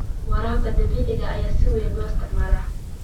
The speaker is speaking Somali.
Waraabka dhibicda ayaa si weyn loo isticmaalaa.